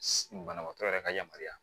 Banabaatɔ yɛrɛ ka yamaruya